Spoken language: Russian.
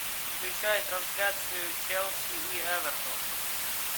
включай трансляцию челси и эвертон